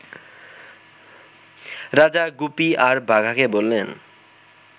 রাজা গুপি আর বাঘাকে বললেন